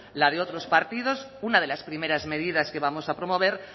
la de otros partidos una de las primeras medidas que vamos a promover